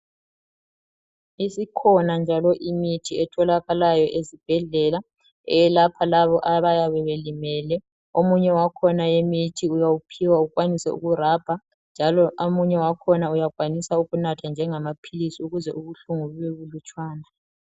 Isikhona njalo imithi etholakayo esibhedlela eyelapha labo abayabe belimele omunye wakhona akhona imithi uyawuphiwa ukwanise ukurabha njalo omunye wakhona uyakwanisa ukunatha njengamaphilisi ukuze ubuhlungu bube bulutshwana.